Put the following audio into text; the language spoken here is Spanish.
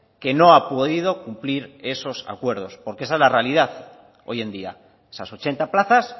que no ha podido cumplir esos acuerdos porque esa es la realidad hoy en día esas ochenta plazas